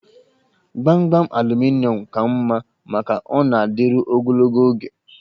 Gbamgbam aluminịọm ka mma maka ọ na-adịru ogologo oge